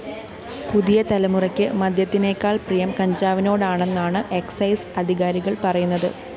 പുതിയ തലമുറയ്ക്ക് മദ്യത്തിനേക്കാള്‍ പ്രിയം കഞ്ചാവിനോടാണെന്നാണ് എക്സൈസ്‌ അധികാരികള്‍ പറയുന്നത്